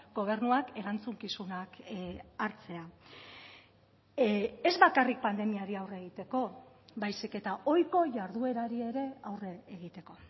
gobernuak erantzukizunak hartzea ez bakarrik pandemiari aurre egiteko baizik eta ohiko jarduerari ere aurre egiteko